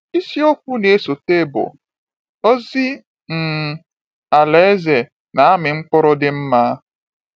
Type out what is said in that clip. Isi okwu na-esote bụ “Ozi um Alaeze Na-amị Mkpụrụ dị Mma.”